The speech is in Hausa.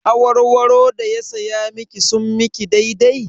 Awarwaro da ya saya miki sun miki daidai?